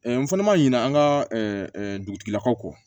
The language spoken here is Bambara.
n fana ma ɲinɛ an ka dugutigilakaw kɔ